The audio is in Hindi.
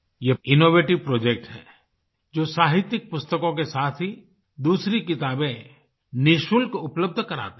ये इनोवेटिव प्रोजेक्ट है जो साहित्यिक पुस्तकों के साथ ही दूसरी किताबें निशुल्क उपलब्ध कराते हैं